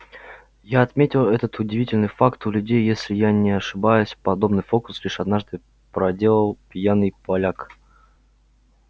я отметил этот удивительный факт у людей если я не ошибаюсь подобный фокус лишь однажды проделал пьяный поляк